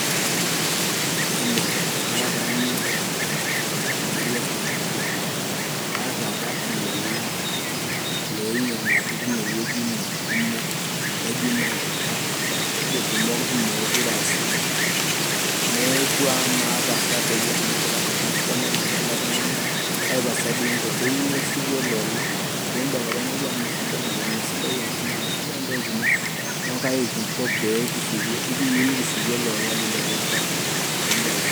Hello, kara taa Milton Marias te Kajiado kaata apa ilolan looinyiang'uaki tinewueji ino kumok nejing'u aa eterruoitie irkumok neeku meekure aa sidan neeku amaa pasa doi amu orcustomer lino ele tung'ani kai pasa doi inko keyieu neshuku ele ola pee imbelekenyaki amu mee sidai ntokitin mesidan ntokitin neeku kai kinko pee ikiyieu nikishuku ele ola lino pee inkaja pee imbelekeny.